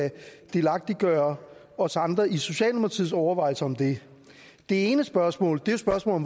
kan delagtiggøre os andre i socialdemokratiets overvejelser om det ene spørgsmål er spørgsmålet